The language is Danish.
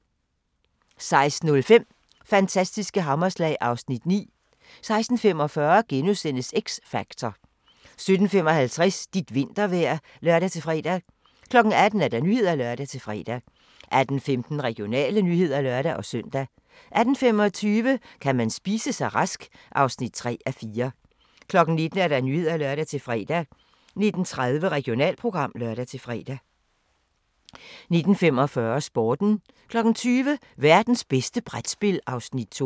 16:05: Fantastiske hammerslag (Afs. 9) 16:45: X Factor * 17:55: Dit vintervejr (lør-fre) 18:00: Nyhederne (lør-fre) 18:15: Regionale nyheder (lør-søn) 18:25: Kan man spise sig rask? (3:4) 19:00: Nyhederne (lør-fre) 19:30: Regionalprogram (lør-fre) 19:45: Sporten 20:00: Værtens bedste brætspil (Afs. 2)